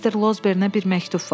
Mister Lozbernə bir məktub var.